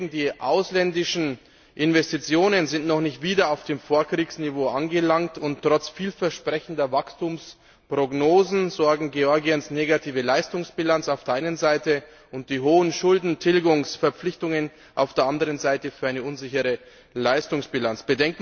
Die ausländischen Investitionen sind noch nicht wieder auf dem Vorkriegsniveau angelangt, und trotz vielversprechender Wachstumsprognosen sorgen Georgiens negative Leistungsbilanz auf der einen Seite und die hohen Schuldentilgungsverpflichtungen auf der anderen Seite für eine unsichere Leistungsbilanz.